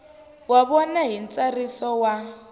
wa vona hi ntsariso wa